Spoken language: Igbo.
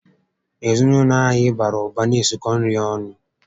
Ezinaụlọ anyị bàrà ụba na-esikọ nri ọnụ